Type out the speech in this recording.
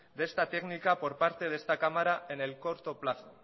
de esta técnica por parte de esta cámara en el corto plazo